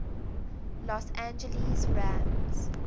los angeles rams